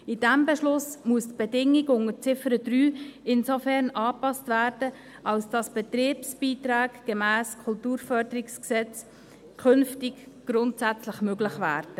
In diesem Beschluss muss die Bedingung unter Ziffer 3 insofern angepasst werden, als Betriebsbeiträge gemäss dem Kantonalen Kulturförderungsgesetz (KKFG) künftig grundsätzlich möglich werden.